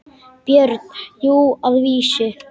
BJÖRN: Jú, að vísu.